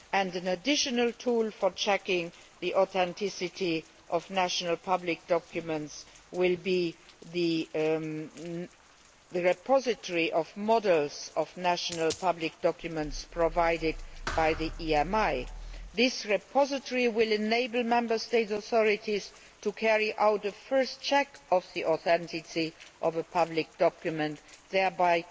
An additional tool for checking the authenticity of national public documents will be the repository of models of national public documents provided by the IMI. This repository will enable Member State authorities to carry out the first check on the authenticity of a public document, thereby